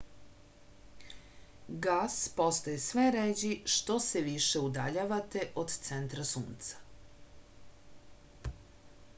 gas postaje sve ređi što se više udaljavate od centra sunca